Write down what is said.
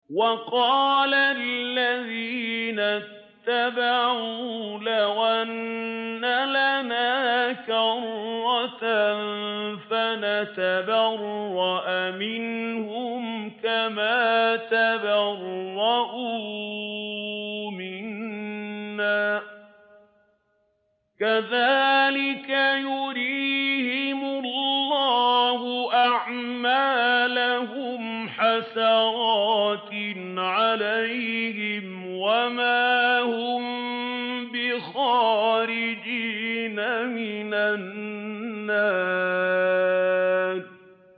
وَقَالَ الَّذِينَ اتَّبَعُوا لَوْ أَنَّ لَنَا كَرَّةً فَنَتَبَرَّأَ مِنْهُمْ كَمَا تَبَرَّءُوا مِنَّا ۗ كَذَٰلِكَ يُرِيهِمُ اللَّهُ أَعْمَالَهُمْ حَسَرَاتٍ عَلَيْهِمْ ۖ وَمَا هُم بِخَارِجِينَ مِنَ النَّارِ